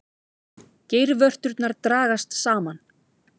Geirvörturnar dragast saman.